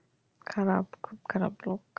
খারাপ খুব খারাপ লোক